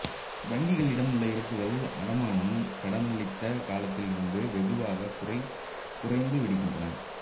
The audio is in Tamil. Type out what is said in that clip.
வங்கிகளிடம் உள்ள இருப்புகள் அடமானம் கடனளித்த காலத்திலிருந்து வெகுவாக குறைந்துவிடுகின்றன